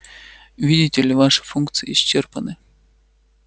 видите ли ваши функции исчерпаны